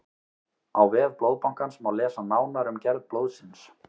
á vef blóðbankans má lesa nánar um gerð blóðsins